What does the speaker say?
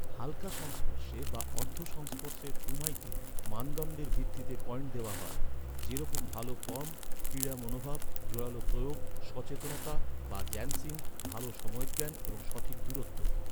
হালকা সংস্পর্শে বা অর্ধ সংস্পর্শের কুমাইটে, মানদণ্ডের ভিত্তিতে পয়েন্ট দেওয়া হয়, যেরকম ভাল ফর্ম, ক্রীড়া মনোভাব, জোরালো প্রয়োগ, সচেতনতা জ্যানশিন, ভাল সময়জ্ঞান এবং সঠিক দূরত্ব।